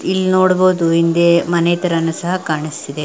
ಇಲ್ ನೋಡಬಹುದು ಹಿಂದೆ ಮನೆ ತರನು ಸಹ ಕಾಣಿಸ್ತಿದೆ.